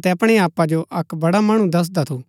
अतै अपणै आपा जो अक्क बड़ा मणु दसदा थू